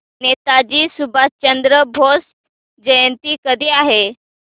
नेताजी सुभाषचंद्र बोस जयंती कधी आहे